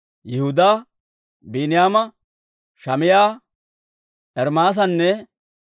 Yihudaa, Biiniyaama, Shamaa'iyaa, Ermaasanne